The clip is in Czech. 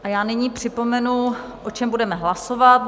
A já nyní připomenu, o čem budeme hlasovat.